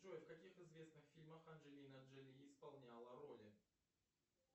джой в каких известных фильмах анджелина джоли исполняла роли